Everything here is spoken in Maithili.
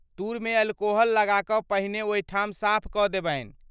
तूर मे अल्कोहल लगा कऽ पहिने ओहिठाम साफ कऽ देबनि।